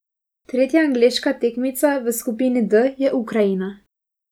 Tretja angleška tekmica v skupini D je Ukrajina.